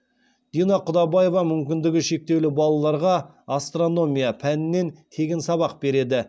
дина құдабаева мүмкіндігі шектеулі балаларға астрономия пәнінен тегін сабақ береді